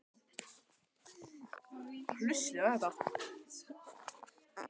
Gísli, áttu tyggjó?